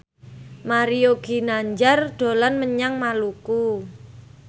Mario Ginanjar dolan menyang Maluku